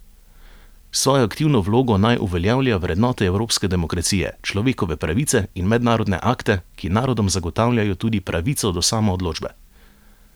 S svojo aktivno vlogo naj uveljavlja vrednote evropske demokracije, človekove pravice in mednarodne akte, ki narodom zagotavljajo tudi pravico do samoodločbe.